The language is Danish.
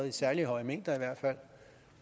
i særlig høje mængder